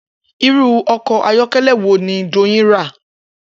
Irú o̩kò̩ ayó̩ké̩lé̩ wo ni Doyin ra?